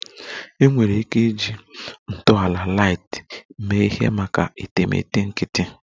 Enwere ike iji ntọala light mee ihe maka etemeete nkịtị